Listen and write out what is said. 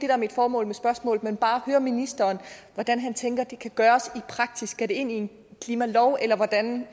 er mit formål med spørgsmålet men bare høre ministeren hvordan han tænker det kan gøres i praksis skal det ind i en klimalov eller hvordan